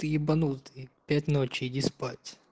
ты ебанутый пять ночи иди спать